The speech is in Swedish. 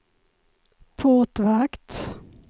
portvakt